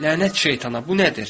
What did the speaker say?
Lənət şeytana, bu nədir?